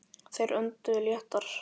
Þeir önduðu léttar.